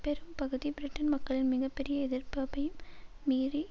பெரும் பகுதி பிரிட்டன் மக்களின் மிக பெரிய எதிர்ப்பபயும் மீறி